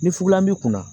Ni fula m'i kunna